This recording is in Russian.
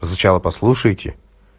вы сначала послушайте